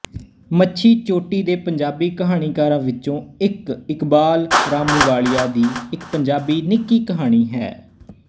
ਮੱਛੀ ਚੋਟੀ ਦੇ ਪੰਜਾਬੀ ਕਹਾਣੀਕਾਰਾਂ ਵਿੱਚੋਂ ਇੱਕ ਇਕਬਾਲ ਰਾਮੂਵਾਲੀਆ ਦੀ ਇੱਕ ਪੰਜਾਬੀ ਨਿੱਕੀ ਕਹਾਣੀ ਹੈ